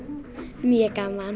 mjög gaman